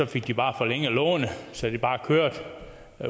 fik de bare forlænget lånet så det bare kørte